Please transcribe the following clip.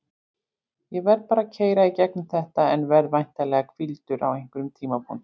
Ég verð bara að keyra í gegnum þetta en verð væntanlega hvíldur á einhverjum tímapunkti.